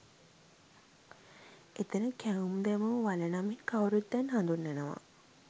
එතන කැවුම් දැමූවල නමින් කවුරුත් දැන් හඳුන්වනවා